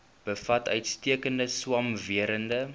bevat uitstekende swamwerende